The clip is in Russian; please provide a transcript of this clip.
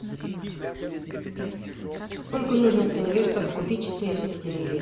сколько нужно тенге чтобы купить четыреста тенге